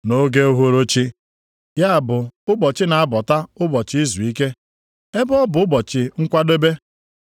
Nʼoge uhuruchi (ya bụ ụbọchị na-abọta ụbọchị izuike), ebe ọ bụ Ụbọchị Nkwadebe,